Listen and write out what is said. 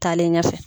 Taalen ɲɛfɛ